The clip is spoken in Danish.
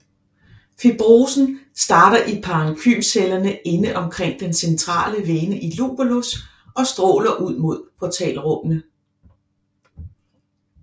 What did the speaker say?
Fibrosen starter i parenkymcellerne inde omkring den centrale vene i lubolus og stråler ud mod portalrummene